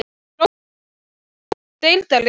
Grófasti leikmaður deildarinnar?